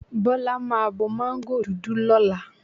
Bọ́lá máa bo mango dúdú lọ́la.